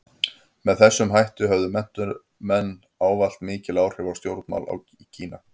Með þessum hætti höfðu menntamenn ávallt mikil áhrif á stjórnmál í Kína.